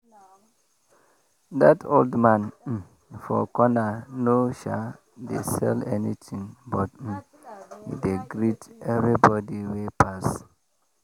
that old man um for corner no um dey sell anything but um e dey greet everybody wey pass.